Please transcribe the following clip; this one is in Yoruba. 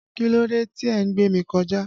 Kílódé tí ẹ gbémi kọjà?